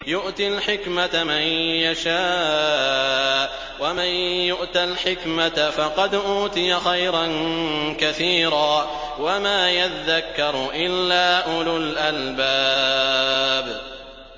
يُؤْتِي الْحِكْمَةَ مَن يَشَاءُ ۚ وَمَن يُؤْتَ الْحِكْمَةَ فَقَدْ أُوتِيَ خَيْرًا كَثِيرًا ۗ وَمَا يَذَّكَّرُ إِلَّا أُولُو الْأَلْبَابِ